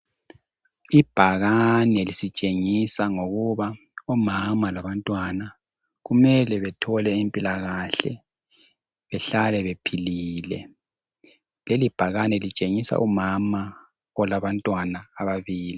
Ibhakane lisitshengisa ngokuba omama labantwana kumele bethole impila kahle behlale bephilile. Leli bhakane litshengisa umama olabantwana ababili.